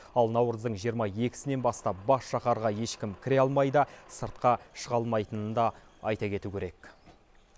ал наурыздың жиырма екісінен бастап бас шаһарға ешкім кіре алмайды сыртқа шыға алмайтынын да айта кету керек